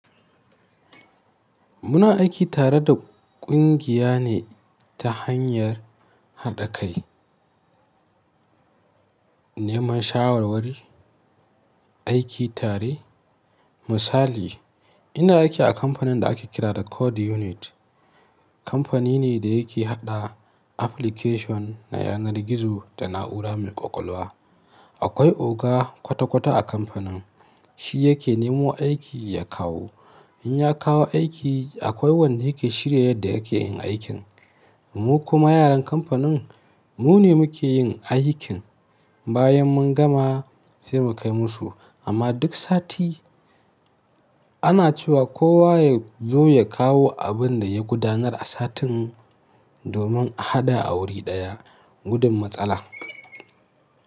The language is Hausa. Muna aiki tare da ƙungiya ne ta hanyar haɗa kai, neman shawarwari, aiki tare. Misali, ina aiki a kamfanin da ake kira da Code Unit. Kamfani ne da yake haɗa application na yanar gizo da na'ura mai ƙwaƙwalwa. Akwai oga kwata-kwata a kamfanin, shi yake nemo aiki ya kawo. In ya kawo aiki, akwai wanda yake shirya yadda yake yin aikin. Mu kuma yaran kamfanin, mu ne muke yin aikin. Bayan mun gama sai mu kai musu. Amma duk sati ana cewa kowa yazo ya kawo abin da ya gudanar a satin domin a haɗa a wuri ɗaya gudun matsala.